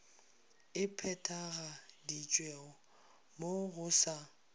e phethagaditšwe mo go sa